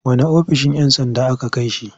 Wanne ofishin 'yan sanda aka kai shi.